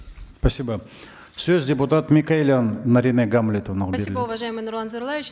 спасибо сөз депутат микаэлян наринэ гамлетовнаға беріледі спасибо уважаемый нурлан зайроллаевич